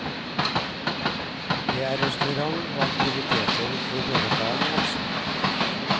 Det er restaurant og aktiviteter både for barn og voksne.